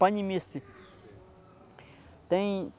Panimice. Tem